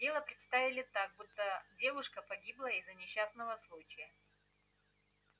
дело представили так будто девушка погибла из-за несчастного случая